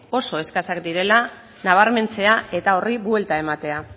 oso eskasak direla nabarmentzea eta horri buelta ematea